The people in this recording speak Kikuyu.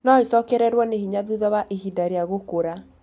No ĩcokererũo nĩ hinya thutha wa ihinda rĩa gũkũra.